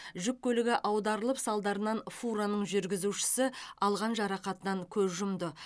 жүк көлігі аударылып салдарынан фураның жүргізушісі алған жарақатынан көз жұмды